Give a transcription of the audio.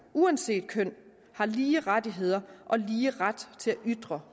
uanset køn har lige rettigheder og lige ret til at ytre